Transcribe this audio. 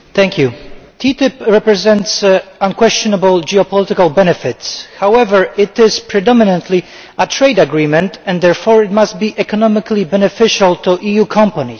Mr President, TTIP represents unquestionable geopolitical benefits. However, it is predominantly a trade agreement and therefore it must be economically beneficial to EU companies.